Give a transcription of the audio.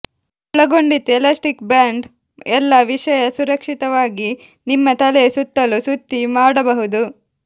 ಒಳಗೊಂಡಿತ್ತು elastic band ಎಲ್ಲಾ ವಿಷಯ ಸುರಕ್ಷಿತವಾಗಿ ನಿಮ್ಮ ತಲೆಯ ಸುತ್ತಲೂ ಸುತ್ತಿ ಮಾಡಬಹುದು